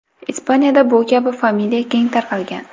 Ispaniyada bu kabi familiya keng tarqalgan.